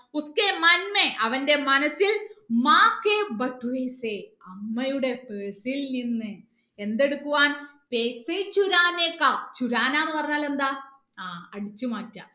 അവന്റെ മനസ്സിൽ അമ്മയുടെ purse ൽ നിന്ന് എന്ത് എടുക്കുവാൻ പറഞ്ഞാൽ എന്താ ആ അടിച്ചു മാറ്റ